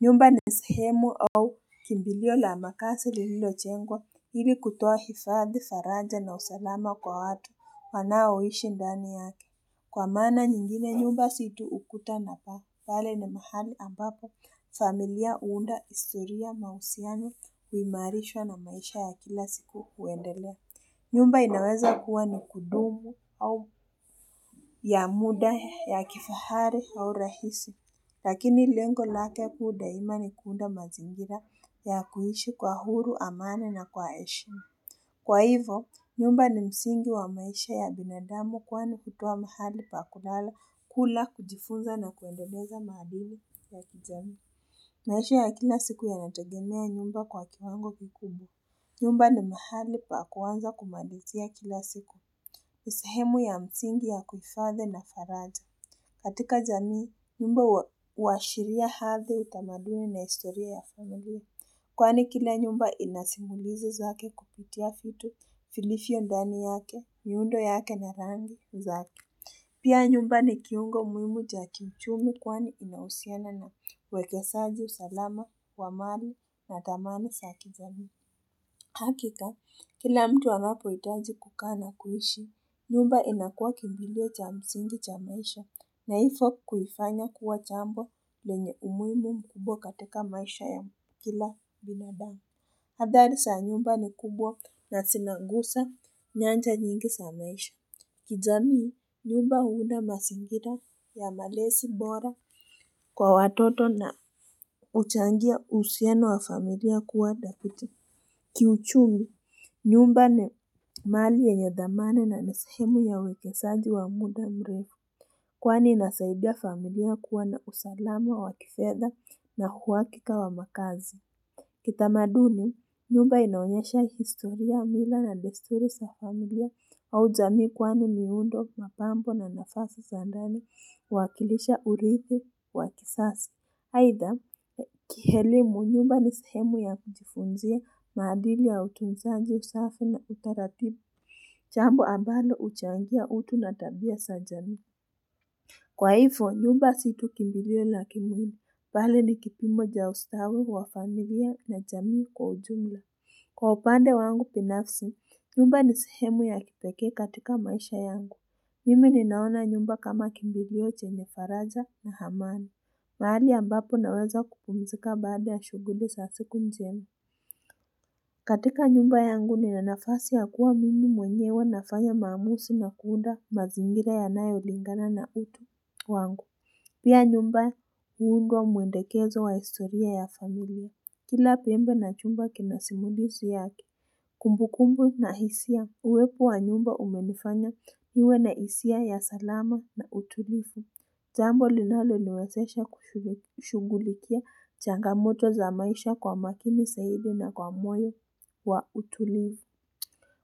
Nyumba ni sehemu au kimbilio la makazi lilojengwa ili kutoa hifadhi, faraja na usalama kwa watu wanaoishi ndani yake. Kwa maana nyingine nyumba si tu ukuta na paa pale na mahali ambapo familia huunda historia, mahusiano huimarishwa na maisha ya kila siku huendelea nyumba inaweza kuwa ni kudumu au ya muda ya kifahari au urahisi, lakini lengo lake kuu daima ni kuunda mazingira ya kuishi kwa huru, amani na kwa heshima. Kwa hivyo, nyumba ni msingi wa maisha ya binadamu kwani hutoa mahali pa kulala, kula, kujifunza na kuendeleza maadili ya kijamii. Maisha ya kila siku yanategemea nyumba kwa kiwango kikubwa. Nyumba ni mahali pa kwanza kumalizia kila siku. Ni sehemu ya msingi ya kuhifadhi na faraja. Katika jamii, nyumba huashiria hali utamaduni na historia ya familia. Kwani kila nyumba inasimulizi zake kupitia vitu vilivyo ndani yake, miundo yake na rangi zake. Pia nyumba ni kiungo muhimu cha kiuchumi kwani inahusiana na uwekezaji, usalama, amani na dhamani za kijamii. Hakika, kila mtu anapohitaji kukaa na kuishi. Nyumba inakuwa kimbilio cha msingi cha maisha na hivyo kuifanya kuwa jambo lenye umuhimu mkubwa katika maisha ya kila binadamu. Adhari za nyumba ni kubwa na zinagusa nyanja nyingi za maisha. Kijamii nyumba huunda mazingira ya malezi bora kwa watoto na huchangia uhusiano wa familia kuwa dhabiti. Kiuchumi, nyumba ni mali yenye dhamana na ni sehemu ya uwekezaji wa muda mrefu. Kwani inasaidia familia kuwa na usalama wa kifedha na uhakika wa makazi. Kitamaduni, nyumba inaonyesha historia, mila na desturi za familia au jamii kwani miundo, mapambo na nafasi za ndani huwakilisha uridhi wa kizazi. Aidha, kielimu, nyumba ni sehemu ya kujifunzia maadili ya utunzaji, usafi na utaratibu Jambo ambalo huchangia utu na tabia za jamii Kwa hivyo nyumba si tu kimbilio la kimwili bali ni kipimo ya ustawi wa familia na jamii kwa ujumla Kwa upande wangu binafsi, nyumba ni sehemu ya kipeke katika maisha yangu. Mimi ninaona nyumba kama kimbilio chenye faraja na amani. Mahali ambapo naweza kupumzika baada ya shughuli za siku njema. Katika nyumba yangu nina nafasi ya kuwa mimi mwenyewe nafanya maamuzi na kuunda mazingira yanayolingana na utu wangu. Pia nyumba huunda mwelekezo wa historia ya familia. Kila pembe na chumba kina simulizi yake. Kumbu kumbu na hisia uwepo wa nyumba umenifanya niwe na hisia ya salama na utulivu. Jambo linaloniwezesha kushughulikia changamoto za maisha kwa makini zaidi na kwa moyo wa utulivu.